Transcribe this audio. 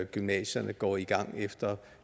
gymnasierne går i gang efter